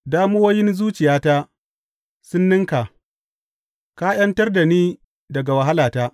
Damuwoyin zuciyata sun ninka; ka ’yantar da ni daga wahalata.